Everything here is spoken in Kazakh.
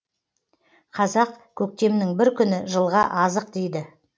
қазақ көктемнің бір күні жылға азық дейді